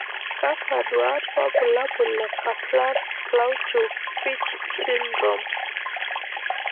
kakwa nduat wobulabul le Kaplan plauchu fitch syndrome?